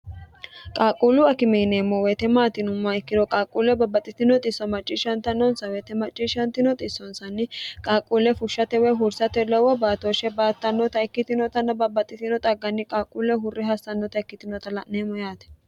qaaqquullu akime yineemmo woyite maat yinumma ikkiro qaaqquulle babbaxxitino isso macciishshantannonsa woyite macciishshantinoti sonsanni qaaqquulle fushshatewee hursate lowo baatooshshe baattannota ikkitinotanna babbaxxitino xagganni qaaqquulle hurre hassannota ikkitinota la'neemmo yaate